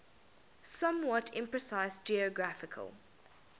somewhat imprecise geographical